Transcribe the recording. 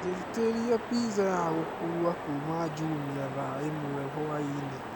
njitiria pizza ya gukũũwa kũma jumia thaa ĩmwe hwaĩnĩ